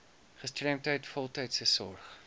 gestremdheid voltydse sorg